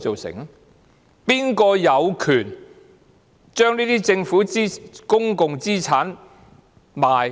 誰有權將這些政府公共資產出售？